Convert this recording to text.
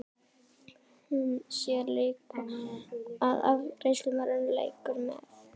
Hún sér líka að afgreiðslumaðurinn leikur með.